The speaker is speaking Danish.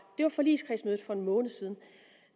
det var forligskredsmødet for en måned siden